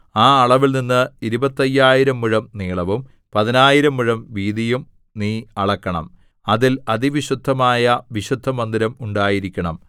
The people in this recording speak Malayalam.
ആ അളവിൽ നിന്ന് ഇരുപത്തയ്യായിരം മുഴം നീളവും പതിനായിരം മുഴം വീതിയും നീ അളക്കണം അതിൽ അതിവിശുദ്ധമായ വിശുദ്ധമന്ദിരം ഉണ്ടായിരിക്കണം